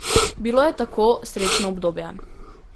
Bilo je tako srečno obdobje.